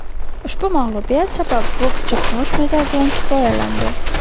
Ushbu mag‘lubiyat sabab bokschi kumush medal bilan kifoyalandi.